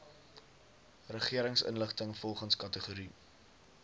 regeringsinligting volgens kategorie